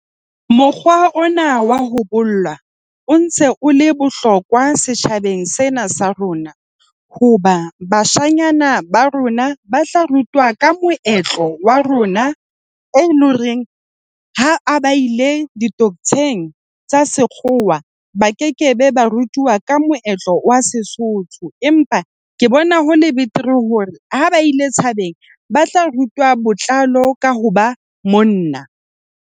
Mokgwa ona wa ho bolla o ntse o le bohlokwa setjhabeng sena sa rona hoba bashanyana ba rona ba tla rutwa ka moetlo wa rona e loreng ha a ba ile di-docto-ng tsa sekgowa, ba kekebe ba rutuwa ka moetlo wa Sesotho, empa ke bona ho le betere hore ha ba ile tshabeng ba tla rutwa botlalo ka ho ba monna.